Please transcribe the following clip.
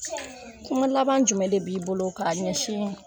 Kuma laban jumɛn de b'i bolo k'a ɲɛsin